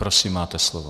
Prosím, máte slovo.